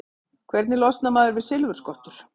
Hvernig losnar maður við silfurskottur?